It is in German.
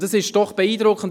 Und es ist beeindruckend: